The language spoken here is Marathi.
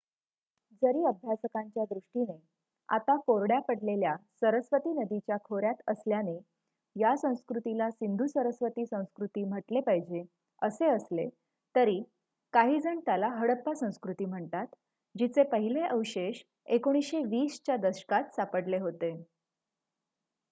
जरी अभ्यासकांच्या दृष्टीने आता कोरड्या पडलेल्या सरस्वती नदीच्या खोऱ्यात असल्याने या संस्कृतीला सिंधू-सरस्वती संस्कृती म्हटले पाहिजे असे असले तरी काहीजण त्याला हडप्पा संस्कृती म्हणतात जिचे पहिले अवशेष १९२० च्या दशकात सापडले होते